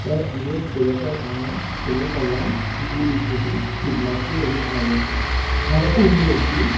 tey ibot dega jar aro sero polla gul gul guri pillar dei guri agon aro uguredi.